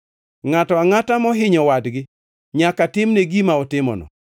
Ngʼato angʼata mohinyo wadgi, nyaka timne gima otimono.